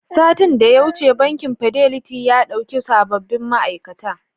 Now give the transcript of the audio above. Satin da ya wuce, bankin Fidelity ya ɗauki sababbin ma'aikata.